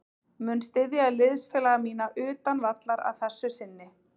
Mun styðja liðsfélaga mína utan vallar að þessu sinni.